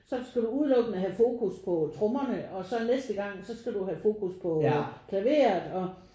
Så skal du udelukkende have fokus på trommerne og så næste gang så skal du have fokus på klaveret og